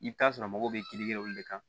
I bɛ t'a sɔrɔ mɔgɔw bɛ kiiri kɛ olu de kan